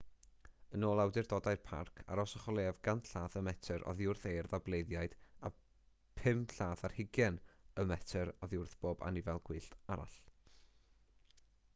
yn ôl awdurdodau'r parc arhoswch o leiaf 100 llath/metr oddi wrth eirth a bleiddiaid a 25 llath/metr oddi wrth bob anifail gwyllt arall